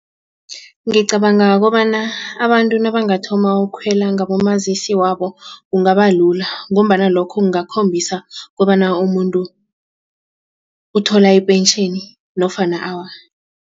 Ngicabanga kobana abantu nabangathoma ukhwela ngabomazisi wabo kungabalula ngombana lokho kungakhombisa kobana umuntu uthola ipentjheni nofana awa.